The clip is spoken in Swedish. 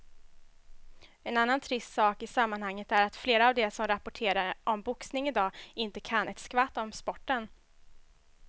En annan trist sak i sammanhanget är att flera av de som rapporterar om boxning i dag inte kan ett skvatt om sporten.